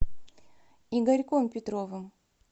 игорьком петровым